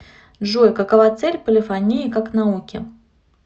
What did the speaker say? джой какова цель полифонии как науки